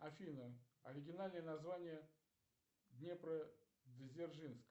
афина оригинальное название днепродзержинск